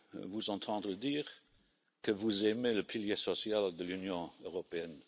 de vous entendre dire que vous aimez le pilier social de l'Union européenne.